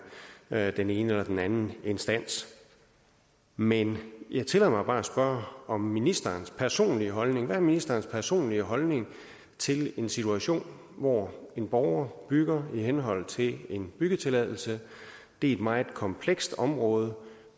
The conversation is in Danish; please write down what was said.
hvad angår den ene eller den anden instans men jeg tillader mig bare at spørge om ministerens personlige holdning hvad er ministerens personlige holdning til en situation hvor en borger bygger i henhold til en byggetilladelse det er et meget komplekst område